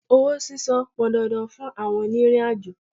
Owó sísan pọn dandan fún àwọn òní ìrìn àjò.